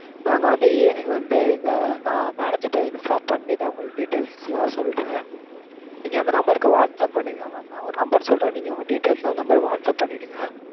நாங்க வந்து evening வந்து எங்க நா உங்க manager கிட்ட inform பண்ணிடறேன். details லாம் சொல்றேன். நீங்க அந்த number க்கு whatsapp பண்ணிருங்க. mam நா ஒரு number சொல்றேன். நீங்க உங்க details லாம் அந்த number க்கு whatsapp பண்ணிருங்க.